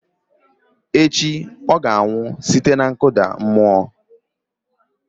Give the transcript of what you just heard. Site na echi ọ ga-anwụ site na nkụda mmụọ